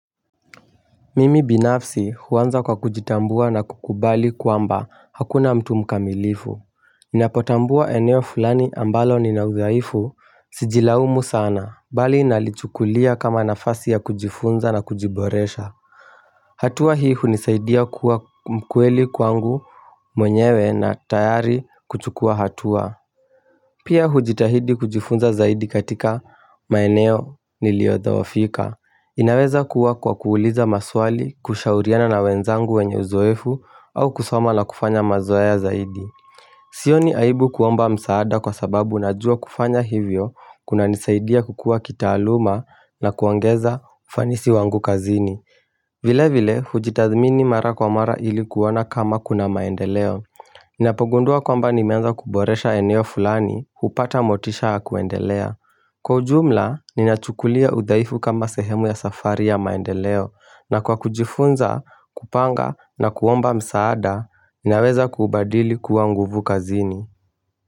Mimi binafsi huanza kwa kujitambua na kukubali kuamba hakuna mtu mkamilifu Ninapotambua eneo fulani ambalo ninaudhaifu sijilaumu sana bali nalichukulia kama nafasi ya kujifunza na kujiboresha hatua hii hunisaidia kuwa mkweli kwangu mwenyewe na tayari kuchukua hatua Pia hujitahidi kujifunza zaidi katika maeneo niliodhoofika inaweza kuwa kwa kuuliza maswali, kushauriana na wenzangu wenye uzoefu au kusoma la kufanya mazoea zaidi Sio ni aibu kuomba msaada kwa sababu najua kufanya hivyo kunanisaidia kukua kitaaluma na kuongeza ufanisi wangu kazini vile vile, hujitathmini mara kwa mara ilikuona kama kuna maendeleo Ninapogundua kwamba nimeanza kuboresha eneo fulani hupata motisha yakuendelea Kwa ujumla, ninachukulia udhaifu kama sehemu ya safari ya maendeleo na kwa kujifunza, kupanga na kuomba msaada, ninaweza kubadili kuwa nguvu kazini.